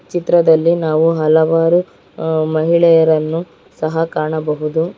ಚಿತ್ರದಲ್ಲಿ ನಾವು ಹಲವಾರು ಆ ಮಹಿಳೆಯರನ್ನು ಸಹ ಕಾಣಬಹುದು.